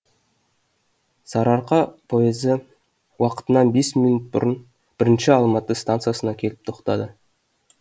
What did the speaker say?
сары арқа поезы уақытынан бес минут бұрын бірінші алматы стансасына келіп тоқтады